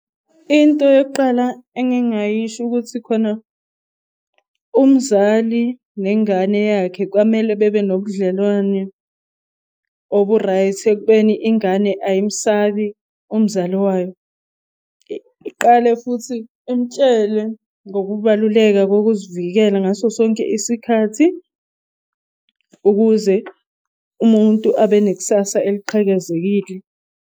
Into yokuqala engingayisho ukuthi khona umzali nengane yakhe kwamele bebe nobudlelwane obu-right, ekubeni ingane ayimsabi umzali wayo. Iqale futhi imtshele ngokubaluleka wokuzivikela ngaso sonke isikhathi, ukuze umuntu abe nek'sasa eliqhakazekile.